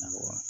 Awɔ